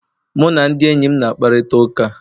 Mụ na ndị enyi m na-akparịta ụka